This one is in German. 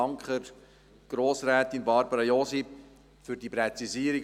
Ich danke der Grossrätin Barbara Josi für diese Präzisierung.